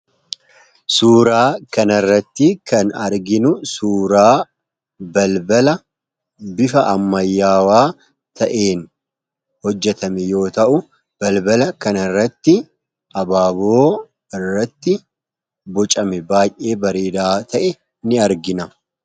Suuraa kana irratti kan arginu suuraa balbala bifa ammayyaawaa ta'een hojjatame yoo ta'u; balbala kan irratti abaaboo irratti bucame baay'ee bareedaa ta'e ni argina.